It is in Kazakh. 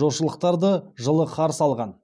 жылы қарсы алған